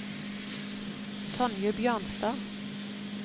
Tonje Bjørnstad